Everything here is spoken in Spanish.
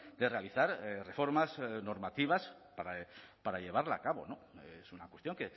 de realizar reformas normativas para llevarla a cabo es una cuestión